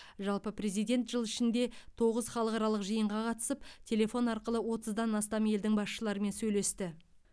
жалпы президент жыл ішінде тоғыз халықаралық жиынға қатысып телефон арқылы отыздан астам елдің басшыларымен сөйлесті